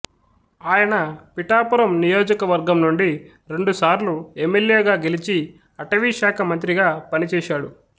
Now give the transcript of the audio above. అయన పిఠాపురం నియోజకవర్గం నుండి రెండుసార్లు ఎమ్మెల్యేగా గెలిచి అటవీ శాఖ మంత్రిగా పని చేశాడు